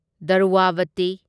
Dravyavati